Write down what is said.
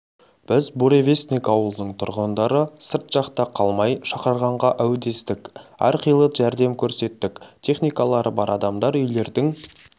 біз буревестник ауылының тұрғындары сырт жақта қалмай шақырғанға әудестік әрқилы жәрдем көрсеттік техникалары бар адамдар үйлердің